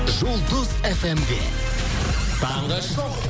жұлдыз фмде таңғы шоу